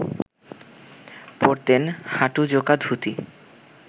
পরতেন হাঁটু-জোকা ধুতি